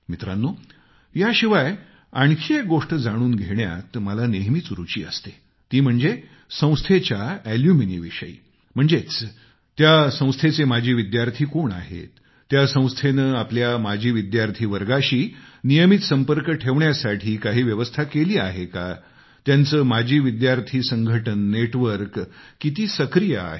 मित्रांनो याशिवाय आणखी एक गोष्ट जाणून घेण्यात मला नेहमीच रूची असते ती म्हणजे संस्थेच्या अलूमिनीविषयी म्हणजेच त्या संस्थेचे माजी विद्यार्थी कोण आहेत त्या संस्थेने आपल्या माजी विद्यार्थी वर्गाशी नियमित संपर्क ठेवण्यासाठी काही व्यवस्था केली आहे का त्यांचे माजी विद्यार्थी संघटन नेटवर्क किती जीवंत आहे